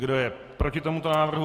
Kdo je proti tomuto návrhu?